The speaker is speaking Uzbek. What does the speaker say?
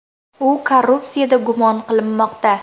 U korrupsiyada gumon qilinmoqda.